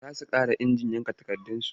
Za su gyara injin yanka takardarsu.